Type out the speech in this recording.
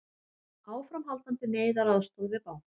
Áframhaldandi neyðaraðstoð við banka